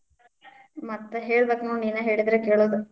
ಮತ್ತ ಹೇಳ್ಬೇಕ್ ನೋಡ್, ನೀನ ಹೇಳಿದ್ರ್ ಕೇಳೋದ.